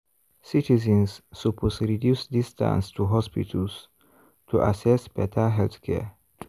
citizens suppose reduce distance to hospitals to access better healthcare.